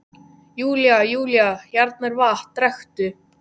Júlía- Júlía, hérna er vatn, drekktu.